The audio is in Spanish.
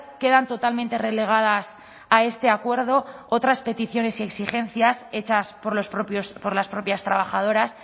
quedan totalmente relegadas a este acuerdo otras peticiones y exigencias hechas por las propias trabajadoras